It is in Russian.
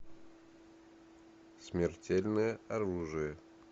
смертельное оружие